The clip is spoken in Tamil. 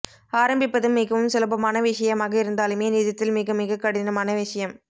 ஆரம்பிப்பது மிகவும் சுலபமான விஷயமாக இருந்தாலுமே நிஜத்தில் மிகமிகக் கடினமான விஷயம்